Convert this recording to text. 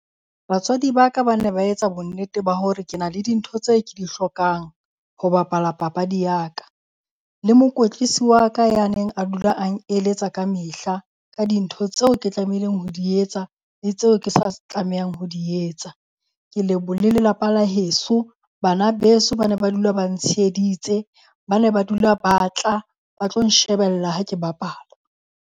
Batswadi ba ka ba ne ba etsa bonnete ba hore ke na le dintho tseo ke di hlokang ho bapala papadi ya ka. Le mokwetlisi wa ka ya neng a dula a ng eletsa ka mehla ka dintho tseo ke tlamehileng ho di etsa le tseo ke sa tlamehang ho di etsa. Ke le lelapa la heso, bana beso ba ne ba dula ba ntsheheditse ba ne ba dula ba tla ba tlo nshebella ha ke bapala.